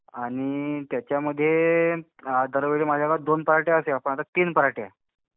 आणि त्याच्यामगे दरवेळेला माझ्या गावात दोन पार्ट्या असायच्या पण आता तीन पार्ट्या.